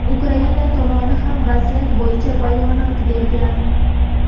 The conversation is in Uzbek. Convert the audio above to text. Ukraina tomoni ham vaziyat bo‘yicha bayonot bergan.